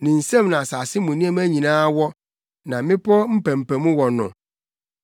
Ne nsam na asase mu nneɛma nyinaa wɔ, na mmepɔw mpampam wɔ no.